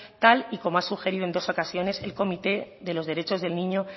tal y como ha sugerido en dos ocasiones el comité de los derechos del niño